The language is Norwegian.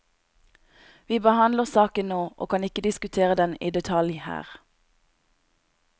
Vi behandler saken nå, og kan ikke diskutere den i detalj her.